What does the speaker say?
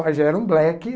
Mas já era um black.